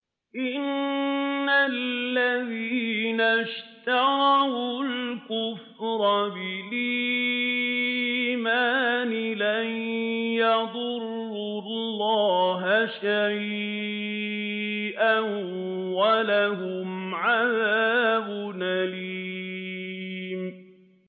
إِنَّ الَّذِينَ اشْتَرَوُا الْكُفْرَ بِالْإِيمَانِ لَن يَضُرُّوا اللَّهَ شَيْئًا وَلَهُمْ عَذَابٌ أَلِيمٌ